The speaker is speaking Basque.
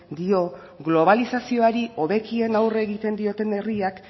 dio globalizazioari hobekien aurre egiten dioten herriak